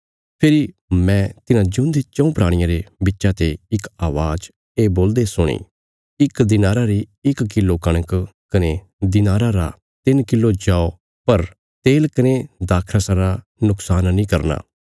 फेरी मैं तिन्हां जिऊंदे चऊँ प्राणियां रे बिच्चा ते इक अवाज़ ये बोलदे सुणी इक दिनारा री इक किलो कणक कने दिनारा रा तिन्न किलो जौ पर तेल कने दाखरसा रा नुक्शान नीं करना